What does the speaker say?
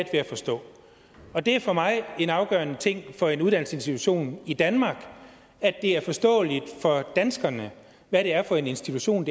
at forstå og det er for mig afgørende for en uddannelsesinstitution i danmark at det er forståeligt for danskerne hvad det er for en institution